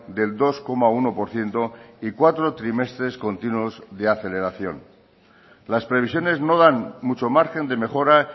del dos coma uno por ciento y cuatro trimestres continuos de aceleración las previsiones no dan mucho margen de mejora